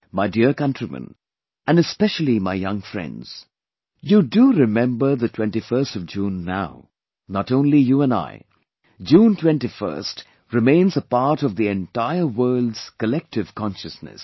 My dear countrymen and especially my young friends, you do remember the 21stof June now; not only you and I, June 21stremains a part of the entire world's collective consciousness